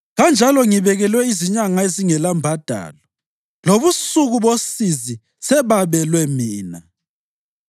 kanjalo ngibekelwe izinyanga ezingelambadalo, lobusuku bosizi sebabelwe mina.